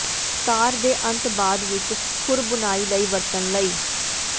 ਤਾਰ ਦੇ ਅੰਤ ਬਾਅਦ ਵਿੱਚ ਖੁਰ ਬੁਨਾਈ ਲਈ ਵਰਤਣ ਲਈ